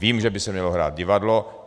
Vím, že by se mělo hrát divadlo.